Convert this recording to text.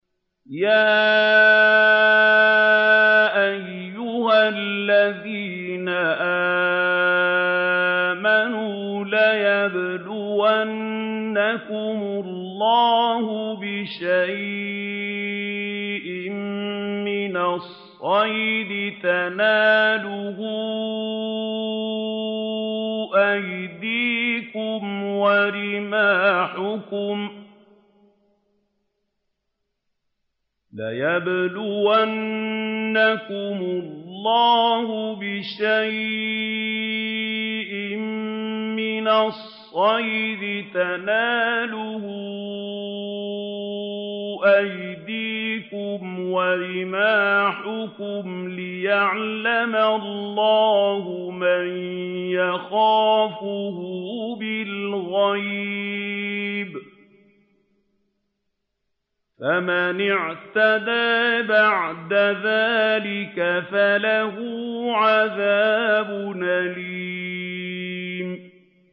يَا أَيُّهَا الَّذِينَ آمَنُوا لَيَبْلُوَنَّكُمُ اللَّهُ بِشَيْءٍ مِّنَ الصَّيْدِ تَنَالُهُ أَيْدِيكُمْ وَرِمَاحُكُمْ لِيَعْلَمَ اللَّهُ مَن يَخَافُهُ بِالْغَيْبِ ۚ فَمَنِ اعْتَدَىٰ بَعْدَ ذَٰلِكَ فَلَهُ عَذَابٌ أَلِيمٌ